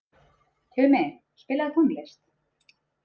Tumi, spilaðu tónlist.